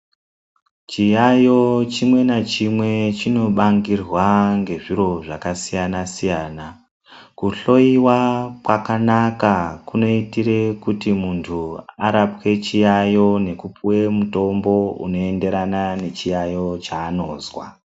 Chiyaiyo chimwe nachimwe chinonangirwa ngezviro zvakasiyana-siyana. Kuhloyiwa kwakanaka kunoitire kuti muntu arapwe chiyaiyo nekupuwe mutombo unoenderana nechiyaiyo cheanozwa.